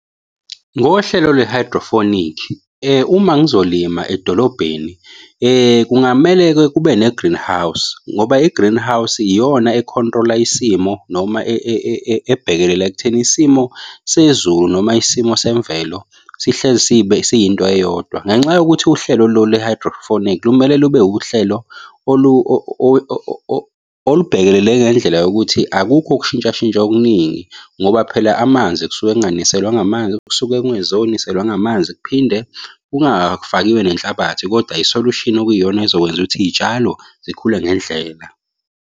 Ngohlelo lwe-hydroponic uma ngizolimala edolobheni kungamele-ke kube ne-greenhouse ngoba i-greenhouse iyona e-control-la isimo noma ebhekelela ekutheni isimo sezulu noma isimo semvelo sihlezi sibe siyinto eyodwa. Ngenxa yokuthi uhlelo lolu le-hydrophonic lumele lube uhlelo olubhekelele ngendlela yokuthi akukho ukushintsha shintsha okuningi ngoba phela amanzi kusuke kunganiselwa ngamanzi, kusuke kungezoniselwa ngamanzi. Kuphinde kungafakiwe nenhlabathi kodwa i-solution okuyiyona ezokwenza ukuthi iy'tshalo zikhule ngendlela.